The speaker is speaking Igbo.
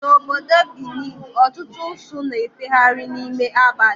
Na obodo Benin, ọtụtụ usu na-efegharị n'ime abali